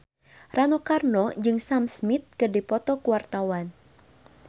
Rano Karno jeung Sam Smith keur dipoto ku wartawan